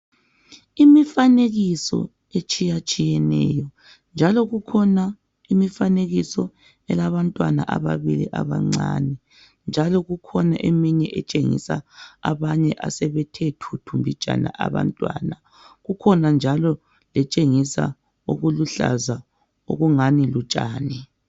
Imifanekiso etshiyatshiyeneyo njalo kukhona imifanekiso elabantwana ababili abancane njalo kukhona eminye etshengisa abanye asebethethuthu mbijana abantwana kukhona njalo letshengisa okuluhlaza okungani lutshani.